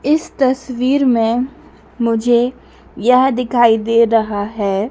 इस तस्वीर में मुझे यह दिखाईं दे रहा है।